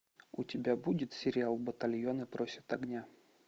у тебя будет сериал батальоны просят огня